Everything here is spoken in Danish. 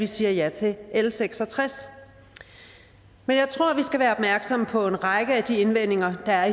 siger ja til l seks og tres men jeg tror vi skal være opmærksomme på en række af de indvendinger der